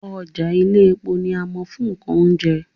Ọjà Iléepo ni a mọ̀ fún nǹkan oúnjẹ